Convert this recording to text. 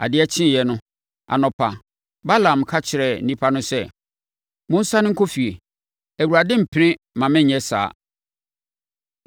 Adeɛ kyeeɛ no, anɔpa, Balaam ka kyerɛɛ nnipa no sɛ, “Monsane nkɔ fie! Awurade rempene mma mennyɛ saa.”